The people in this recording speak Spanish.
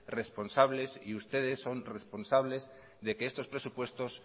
responsables y ustedes son responsables de que estos presupuestos